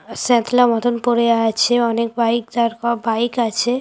সাঁতলা মতন পরে আছে অনেক বাইক দাঁড় ক বাইক আছে|